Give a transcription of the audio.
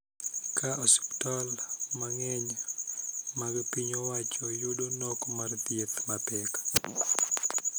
Ka osiptal mang�eny mag piny owacho yudo nok mar thieth mapek